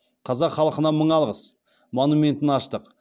қазақ халқына мың алғыс монументін аштық